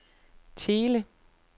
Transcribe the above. Thele